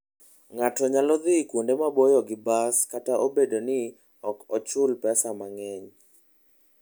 Ng'ato nyalo dhi kuonde maboyo gi bas kata obedo ni ok ochul pesa mang'eny.